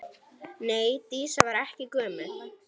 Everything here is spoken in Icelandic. Nei, Dísa var ekki gömul.